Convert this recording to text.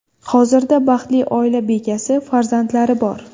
Hozirda baxtli oila bekasi, farzandlari bor.